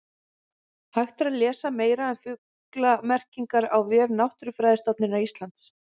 Hægt er að lesa meira um fuglamerkingar á vef Náttúrufræðistofnunar Íslands.